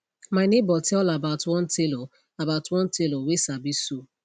my neighbor tell about one tailor about one tailor whey sabi sew